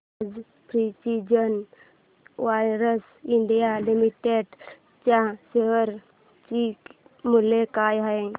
आज precision wires India limited च्या शेअर चे मूल्य काय आहे